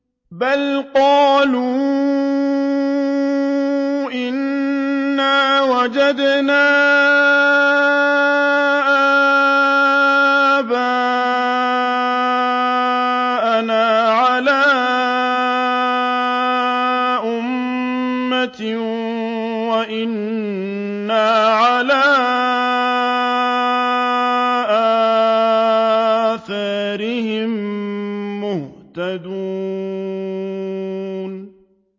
بَلْ قَالُوا إِنَّا وَجَدْنَا آبَاءَنَا عَلَىٰ أُمَّةٍ وَإِنَّا عَلَىٰ آثَارِهِم مُّهْتَدُونَ